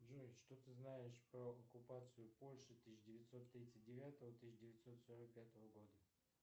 джой что ты знаешь про оккупацию польши тысяча девятьсот тридцать девятого тысяча девятьсот сорок пятого года